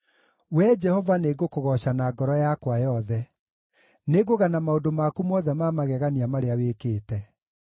Wee Jehova, nĩngũkũgooca na ngoro yakwa yothe; nĩngũgana maũndũ maku mothe ma magegania marĩa wĩkĩte.